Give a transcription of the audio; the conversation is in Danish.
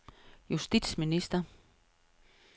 justitsminister